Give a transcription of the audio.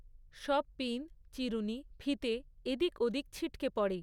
সব পিন, চিরুণি, ফিতে এদিক ওদিক ছিটকে পড়ে।